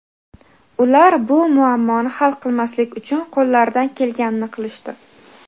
ular bu muammoni hal qilmaslik uchun qo‘llaridan kelganini qilishdi.